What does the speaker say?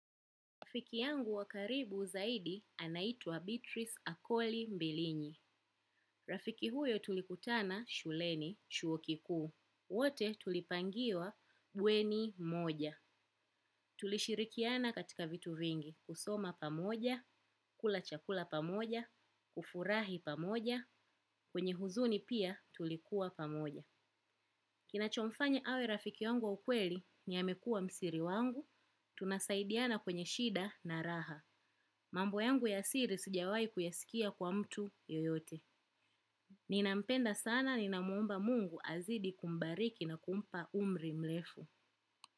Rafiki yangu wa karibu zaidi anaitwa Beatrice Akoli Mbilini. Rafiki huyo tulikutana shuleni, chuo kikuu. Wote tulipangiwa bweni moja. Tulishirikiana katika vitu vingi. Kusoma pamoja, kula chakula pamoja, kufurahi pamoja, kwenye huzuni pia tulikuwa pamoja. Kinachomfanya awe rafiki yangu wa ukweli ni amekuwa msiri wangu, tunasaidiana kwenye shida na raha. Mambo yangu ya siri sijawai kuyasikia kwa mtu yoyote. Ninampenda sana ninamwomba mungu azaidi kumbariki na kumpa umri mrefu.